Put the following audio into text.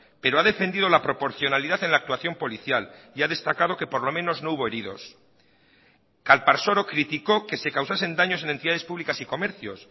pero ha defendido la proporcionalidad en la actuación policial y ha destacado que por lo menos no hubo heridos calparsoro criticó que se causasen daños en entidades públicas y comercios